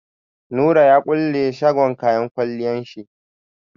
Nura ya kulle shagon kayan kwalliyan shi.